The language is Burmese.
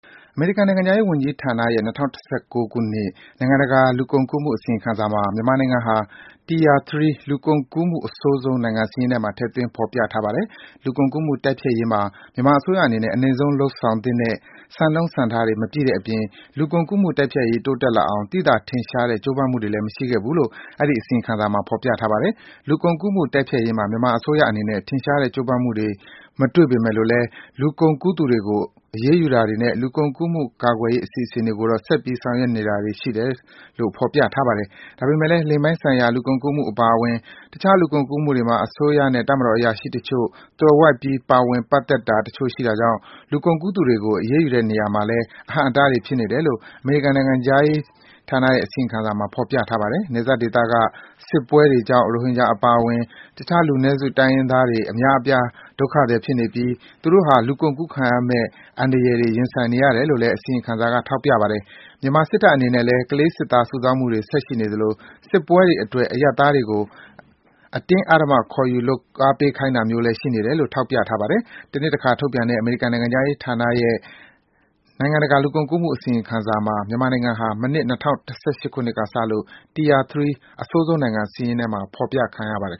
အမေရိကန် နိုင်ငံခြားရေးဝန်ကြီးဌာနရဲ့ ၂၀၁၉ နိုင်ငံတကာ လူကုန်ကူးမှုအစီရင်ခံစာမှာ မြန်မာနိုင်ငံဟာ Tier 3 လူကုန်ကူးမှု အဆိုးဆုံး နိုင်ငံစာရင်းထဲမှာ ထည့်သွင်းဖော်ပြထားပါတယ်။ လူကုန်ကူးမှုတိုက်ဖျက်ရေးမှာ မြန်မာအစိုးရအနေနဲ့ အနိမ့်ဆုံးလုပ်ဆောင်သင့်တဲ့ စံနှုန်းစံထားတွေ မပြည့်တဲ့အပြင်၊ လူကုန်ကူးမှုတိုက်ဖျက်ရေး တိုးတက်လာအောင် သိသာထင်ရှားတဲ့ ကြိုးပမ်းမှုတွေလည်း မရှိခဲ့ဘူးလို့ အဲဒီ အစီရင်ခံစာမှာဖော်ပြပါတယ်။ လူကုန်ကူးမှု တိုက်ဖျက်ရေးမှာ မြန်မာအစိုးရအနေနနဲ့ ထင်ရှားတဲ့ ကြိုးပမ်းမှုတွေမတွေ့ပေမယ့်လို့လည်း လူကုန်ကူးသူတွေကို အရေးယူတာတွေနဲ့ လူကုန်ကူးမှု ကာကွယ်ရေးအစီအစဉ်တွေကိုတော့ ဆက်ပြီး ဆောင်ရွက် နေတာတွေ ရှိတယ်လို့တော့ ဖော်ပြပါတယ်။ ဒါပေမယ့်လည်း လိင်ပိုင်းဆိုင်ရာ လူကုန်ကူးမှုတွေအပါအဝင် အခြားလူကုန်ကူးမှုတွေမှာ အစိုးရနဲ့ တပ်မတော်အရာရှိတချို့ သွယ်ဝိုက်ပြီး ပါဝင်ပတ်သက်တာတချို့ရှိတာကြောင့် လူကုန်ကူးသူတွေကို အရေးယူတဲ့ နေရာမှာလည်း အဟန့်အတားတွေဖြစ်နေတယ်လို့ အမေရိကန်နိုင်ငံခြားရေး အစီရင်ခံစာမှာ ဖော်ပြပါတယ်။ နယ်စပ်ဒေသက စစ်ပွဲတွေကြောင့် ရိုဟင်ဂျာအပါအဝင် အခြားလူနည်းစု တိုင်းရင်းသားတွေ အများအပြား ဒုက္ခသည်ဖြစ်နေပြီး၊ သူတို့ဟာ လူကုန်ကူးခံရမယ့် အန္တရာယ်တွေ ရင်ဆိုင်နေရတယ် လို့လည်း အစီရင်ခံစာက ထောက်ပြပါတယ်။ မြန်မာစစ်တပ်အနေနဲ့လည်း ကလေးစစ်သား စုဆောင်းမှုတွေ ဆက်ရှိနေသလို၊ စစ်ပွဲတွေအတွက် အရပ်သားတွေကို အတင်းအဓမ္မခေါ်ယူလုပ်အားပေးခိုင်းတာမျိုးလည်းရှိနေတယ်လို့ ထောက်ပြပါတယ်။ တနှစ်တခါ ထုတ်ပြန်တဲ့ အမေရိကန်နိုင်ငံခြားရေးဌာနရဲ့ နိုင်ငံတကာလူကုန်ကူးမှုအစီရင်ခံစာမှာ မြန်မာနိုင်ငံဟာ မနှစ် ၂၀၁၈ ခုနှစ်ကစလို့ Tier 3 အဆိုးဆုံးနိုင်ငံစာရင်းမှာ ဖော်ပြခံထားရပါတယ်